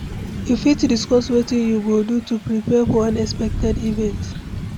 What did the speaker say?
you fit discuss wetin you go do to prepare for unexpected events?